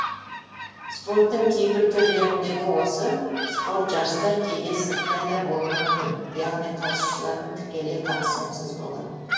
спорттың кейбір түрлеріндегі осы спорт жарыстар кейде сырттай да болуы мүмкін яғни қатысушылардың тікелей қатысуынсыз болады